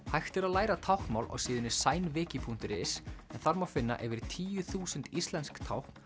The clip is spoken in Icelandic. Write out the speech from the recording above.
hægt er að læra táknmál á síðunni punktur is en þar má finna yfir tíu þúsund íslensk tákn